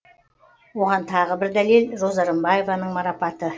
оған тағы бір дәлел роза рымбаеваның марапаты